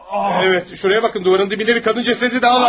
Evet, şuraya bakın duvarın dibində bir kadın cəsədi daha var!